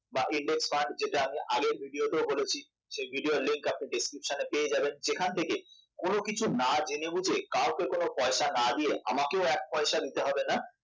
বা Index fund আগের video তেও বলেছি সেই video র link আপনি description এ পেয়ে যাবেন যেখান থেকে না জেনে বুঝে কাউকে কোন পয়সা না দিয়ে আমাকেও এক পয়সা দিতে হবে না